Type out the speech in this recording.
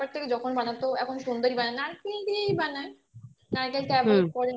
তারপর থেকে যখন বানাতো এখন সুন্দরী বানায় নারকেল দিয়েই বানায় নারকেলটা